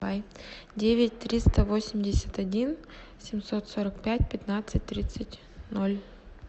девять триста восемьдесят один семьсот сорок пять пятнадцать тридцать ноль